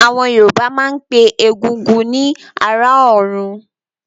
Àwọn Yorùbá máa ń pe Egúngún ni "ará ọ̀run"